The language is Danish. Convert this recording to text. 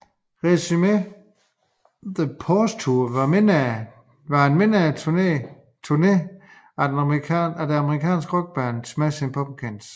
Resume the Pose Tour var en mindre turné af det amerikanske rockband Smashing Pumpkins